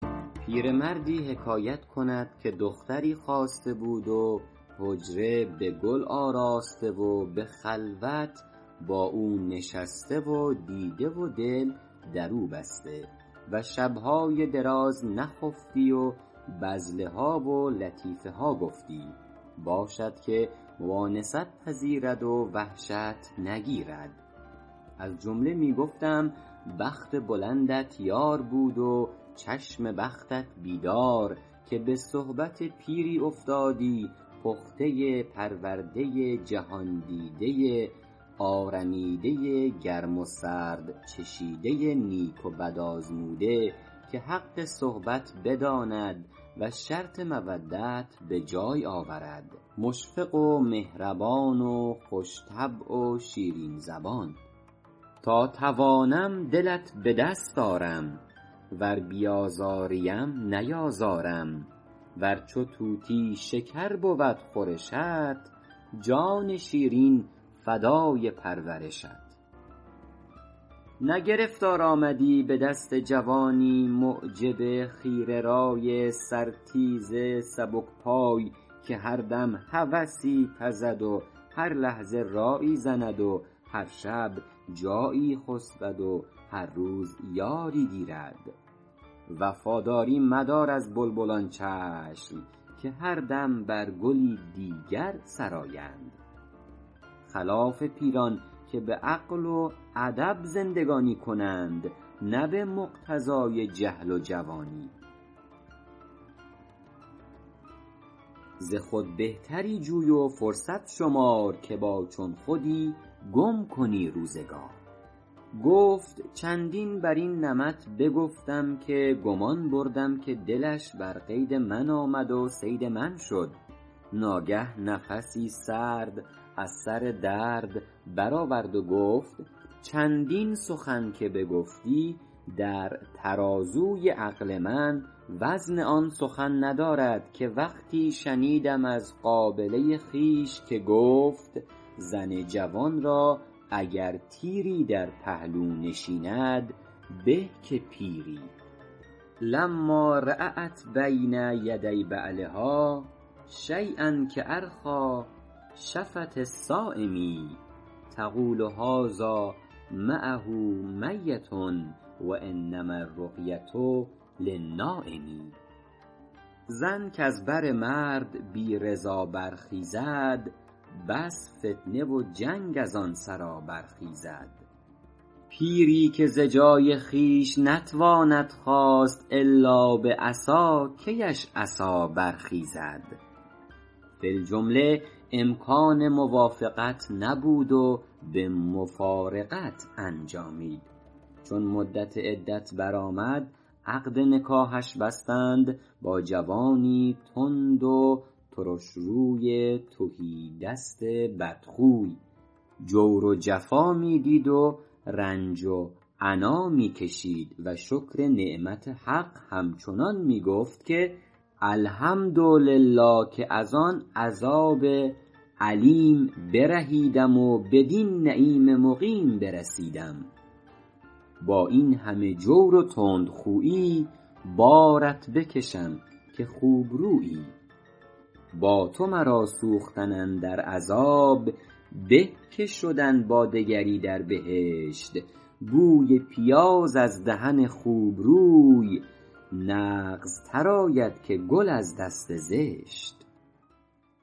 پیرمردی حکایت کند که دختری خواسته بود و حجره به گل آراسته و به خلوت با او نشسته و دیده و دل در او بسته و شبهای دراز نخفتی و بذله ها و لطیفه ها گفتی باشد که مؤانست پذیرد و وحشت نگیرد از جمله می گفتم بخت بلندت یار بود و چشم بختت بیدار که به صحبت پیری افتادی پخته پرورده جهاندیده آرمیده گرم و سرد چشیده نیک و بد آزموده که حق صحبت بداند و شرط مودت به جای آورد مشفق و مهربان خوش طبع و شیرین زبان تا توانم دلت به دست آرم ور بیازاری ام نیازارم ور چو طوطی شکر بود خورشت جان شیرین فدای پرورشت نه گرفتار آمدی به دست جوانی معجب خیره رای سر تیز سبک پای که هر دم هوسی پزد و هر لحظه رایی زند و هر شب جایی خسبد و هر روز یاری گیرد وفاداری مدار از بلبلان چشم که هر دم بر گلی دیگر سرایند خلاف پیران که به عقل و ادب زندگانی کنند نه به مقتضای جهل جوانی ز خود بهتری جوی و فرصت شمار که با چون خودی گم کنی روزگار گفت چندین بر این نمط بگفتم که گمان بردم که دلش بر قید من آمد و صید من شد ناگه نفسی سرد از سر درد بر آورد و گفت چندین سخن که بگفتی در ترازوی عقل من وزن آن سخن ندارد که وقتی شنیدم از قابله خویش که گفت زن جوان را اگر تیری در پهلو نشیند به که پیری لما رأت بین یدی بعلها شییا کأرخیٰ شفة الصایم تقول هذا معه میت و انما الرقیة للنایم زن کز بر مرد بی رضا برخیزد بس فتنه و جنگ از آن سرا برخیزد پیری که ز جای خویش نتواند خاست الا به عصا کی اش عصا برخیزد فی الجمله امکان موافقت نبود و به مفارقت انجامید چون مدت عدت بر آمد عقد نکاحش بستند با جوانی تند و ترشروی تهیدست بدخوی جور و جفا می دید و رنج و عنا می کشید و شکر نعمت حق همچنان می گفت که الحمدلله که از آن عذاب الیم برهیدم و بدین نعیم مقیم برسیدم با این همه جور و تندخویی بارت بکشم که خوبرویی با تو مرا سوختن اندر عذاب به که شدن با دگری در بهشت بوی پیاز از دهن خوبروی نغزتر آید که گل از دست زشت